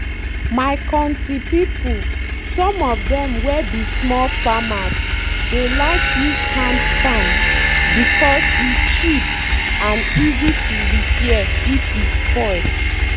my konti people some of dem were be small farmers dey like use hand farm because e cheap and easy to repair if e spoil